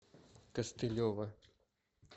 костылева